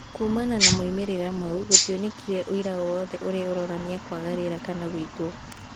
Kuumana na moimĩrĩra mau, gũtionekire ũira o wothe ũrĩa ũronani kwaga rĩera kana gũitwo.